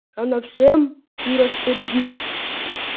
она всем и распорядилась